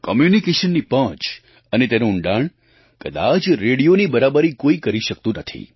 કમ્યૂનિકેશનની પહોંચ અને તેનું ઊંડાણ કદાચ રેડિયોની બરાબરી કોઈ કરી શકતું નથી